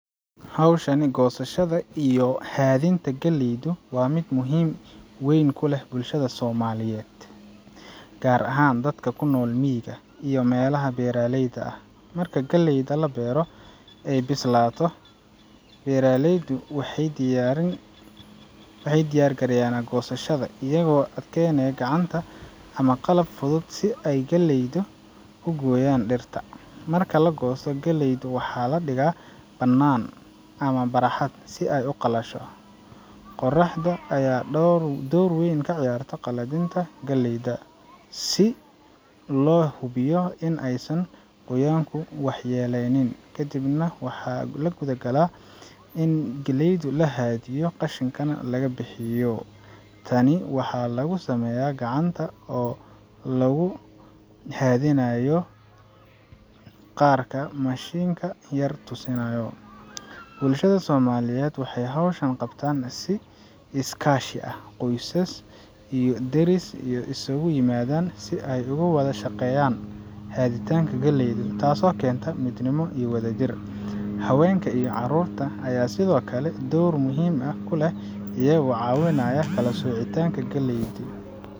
Howsha goosashada iyo haadintu galleyda waa mid muhiim weyn ku leh bulshada Soomaaliyeed, gaar ahaan dadka ku nool miyiga iyo meelaha beeraleyda ah. Marka galleyda la beero oo ay bislaato, beeraleydu waxay u diyaar gareyanaa goosashada, iyagoo adeeynaya gacanta ama qalab fudud si ay galleyda uga gooyaan dhirta. Marka la goosto, galleyda waxaa la dhigaa meel bannaan ama barxad si ay u qalasho. Qorraxda ayaa door weyn ka ciyaarta qalajinta galleyda, si loo hubiyo in aysan qoyaanku waxyeelleyn. Kadibna, waxaa la guda galaa in galleydu la haadiyo qashinka nah laga bixiyo. Tani waxaa lagu sameeyaa gacanta, ul lagu haadinayo, ama mararka qaar mashiin yar oo tusinaayo. Bulshada Soomaaliyeed waxay hawshan u qabtaan si is kaashi ah. Qoysas iyo deris ayaa isugu yimaada si ay uga wada shaqeeyaan haaditanka galleyda, taasoo keenta midnimo iyo wadajir. Haweenka iyo carruurta ayaa sidoo kale door muhiim ah ku leh, iyagoo caawiya kala soocidda galleyda.